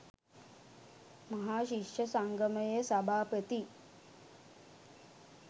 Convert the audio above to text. මහා ශිෂ්‍ය සංගමයේ සභාපති